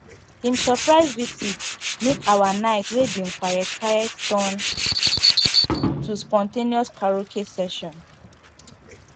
him surprise visit make our night wey bin quiet quiet turn to spontaneous karaoke session